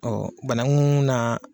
Ɔ banakun na.